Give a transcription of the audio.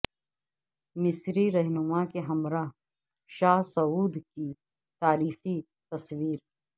مصری رہنما کے ہمراہ شاہ سعود کی تاریخی تصویر